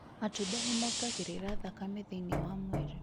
Matunda nĩ mongagĩrĩra thakame thĩinĩ wa mwĩrĩ.